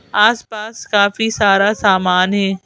आस-पास काफी सारा सामान है।